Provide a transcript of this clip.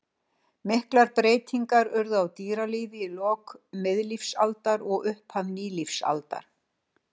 Miklar breytingar urðu á dýralífi í lok miðlífsaldar og upphafi nýlífsaldar.